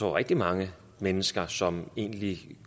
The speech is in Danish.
er rigtig mange mennesker som egentlig